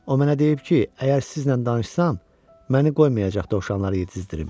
O mənə deyib ki, əgər sizlə danışsam, məni qoymayacaq dovşanları yedizdirim.